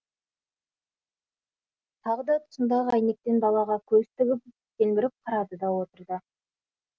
тағы да тұсындағы әйнектен далаға көз тігіп телміріп қарады да отырды